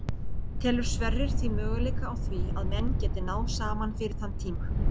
Telur Sverrir því möguleika á því að menn geti náð saman fyrir þann tíma?